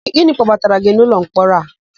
Gịnị kpọbatara gị n'ụlọmkpọrọ a?